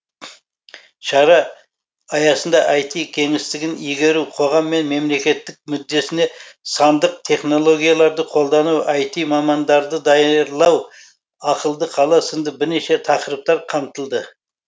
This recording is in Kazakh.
шара аясында іт кеңістігін игеру қоғам мен мемлекет мүддесіне сандық технологияларды қолдану іт мамандарды даярлау ақылды қала сынды бірнеше тақырыптар қамтылды